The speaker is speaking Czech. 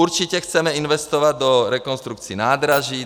Určitě chceme investovat do rekonstrukcí nádraží.